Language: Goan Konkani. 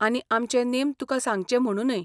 आनी आमचे नेम तुकां सांगचे म्हणूनय.